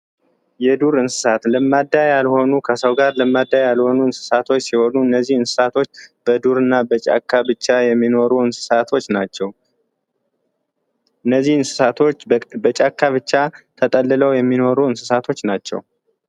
የዱር እንስሳት ለማዳ ያልሆኑ ከሰው ጋር ለማዳ ያልሆኑ እንስሳቶች ሲሆኑ እነዚህን እንስሳቶች በዱርና በጫካብቻ የሚኖሩ እንስሳቶች ናቸው። እነዚህን እሳቶች በጫካ ብቻ ተጠልለው የሚኖሩ እንስሳቶች ናቸው።